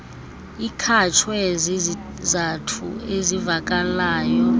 ikhatshwe zizizathu ezivakalayo